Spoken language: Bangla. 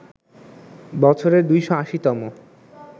বছরের ২৮০ তম